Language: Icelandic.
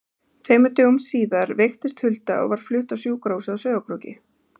Tveimur dögum síðar veiktist Hulda og var flutt á sjúkrahúsið á Sauðárkróki.